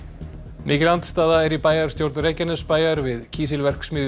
mikil andstaða er í bæjarstjórn Reykjanesbæjar við kísilverksmiðjur